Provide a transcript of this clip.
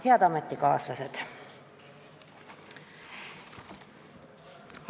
Head ametikaaslased!